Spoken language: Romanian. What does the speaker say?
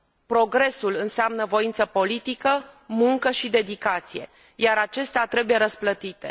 Progresul înseamnă voință politică, muncă și dedicație, iar acestea trebuie răsplătite.